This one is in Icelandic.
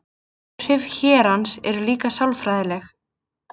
Áhrif hérans eru líka sálfræðileg.